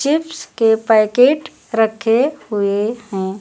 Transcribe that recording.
Chips के packet रखे हुए हैं।